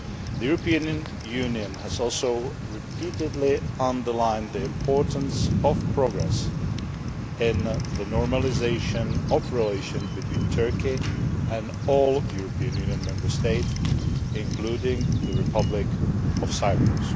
The European Union has also repeatedly underlined the importance of progress in the normalisation of relations between Turkey and all European Union Member States, including the Republic of Cyprus.